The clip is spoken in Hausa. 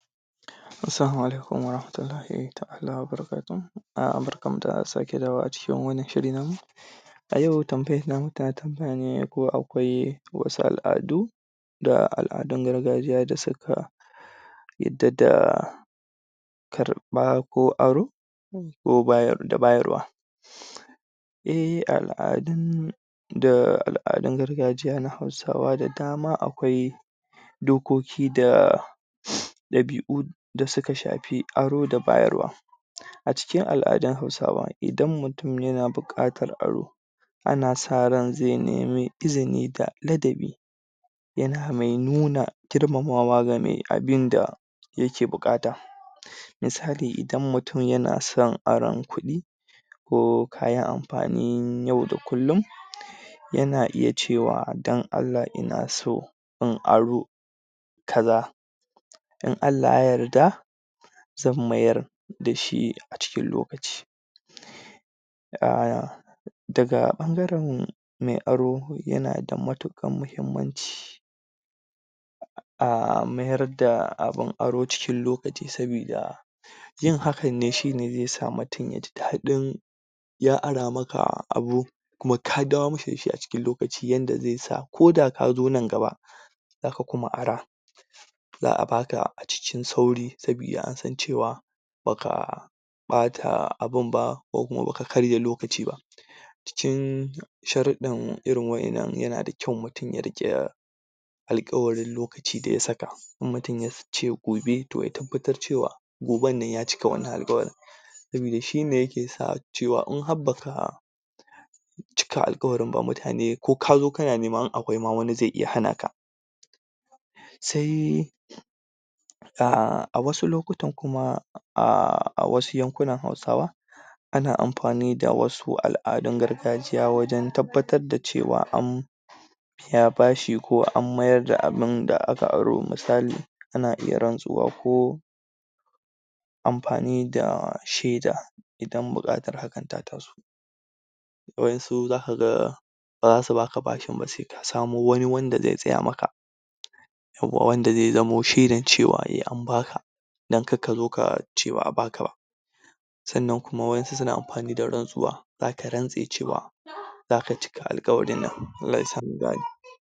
Asalamaalaikum.............. barkanmu da sake dawowacikin wani shiri namu, a yau tambayan namu, tana tambaya ne ko akwai wasu al'adu da al'adun gargajiya da suka yadda da karba, ko aro bayarwa, da bayarwa. eh, al'adun, da al'adun gargajiya na hausa da dama akwai, dokoki da ɗabi'u da suka shafi aro da bayarwa, a cikin al'adun hausawa, idan mutum yana buƙatar aro, ana sa ran zai nemi izini da ladabi yana mainuna girmamawa ga mai abinda yake buƙata, misali, idan mutum yana son aron kuɗi, ko kayan amfanin yau da kullum, yana iya cewa don Allah ina inaso in aron ka za, in Allah ya yarda, zan ayar da shi a cikin lokaci. Ahh, daga ɓangaren mai aro, yana da matuƙar muhimmanci a mayar da abin aro cikin lokaci, soboda yin hakanne zai sa mutum ya ji daɗin ya ara maka abu, kuma ka dawo masa da shi a cikin lokaci yanda zai sa ko ko da ka zo nan gaba, za ka kuma ara, za a baka a cikin sauri saboda an san cewa ba ka ɓata abin ba ko kuma ba ka karya lokaci ba. Cikin sharuɗan irin waɗannan, yana da kyau mutum ya riƙe alkawarin lokacin da ya saka, in mutum yace gobe to ya tabbatar cewa gobannan ya cika wannan alkawari, sabida shine yake sa in har baka cika alkawarin ba mutane ko ka zo ma, kana nema in akwai ma wani zai iya hanaka. Sai dai, a wasu lokutan kuma a wasu yankunan Hausawan, ana amfani da wasu al'adun gargajiya wajen tabbatar da cewa an biya bashi ko an mayar da abun da aka aro, misali. Ana iya rantsuwa ko amfani da shaida idan buƙatar hakan ta taso. Waɗansu, za ka ga ba za su ba ka bashin ba sai ka samo wani wanda zai tsaya maka, wanda zai zamo shaidan cewa an baka, dan kar ka zo ka ce ba a baka ba. Sannan kuma waɗansu suna amfani da rantsuwa, za ka rantse cewa, za ka cika alkawarin nan. Allah ya sa mu gane.